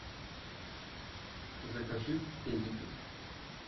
закажи педигри